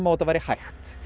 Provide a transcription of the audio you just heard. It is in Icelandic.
þetta væri hægt